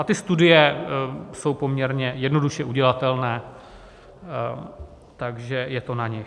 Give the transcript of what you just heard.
A ty studie jsou poměrně jednoduše udělatelné, takže je to na nich.